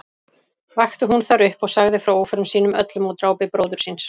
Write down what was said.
Vakti hún þar upp og sagði frá óförum sínum öllum og drápi bróður síns.